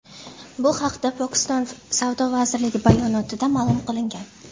Bu haqda Pokiston savdo vazirligi bayonotida ma’lum qilingan .